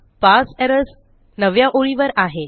parse errors नवव्या ओळीवर आहे